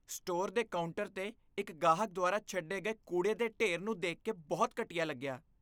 Store ਦੇ counter 'ਤੇ ਇਕ ਗਾਹਕ ਦੁਆਰਾ ਛੱਡੇ ਗਏ ਕੂੜੇ ਦੇ ਢੇਰ ਨੂੰ ਦੇਖ ਕੇ ਬਹੁਤ ਘਟੀਆ ਲੱਗਿਆ।